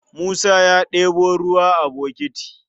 Musa ya ɗebo ruwa a bokiti.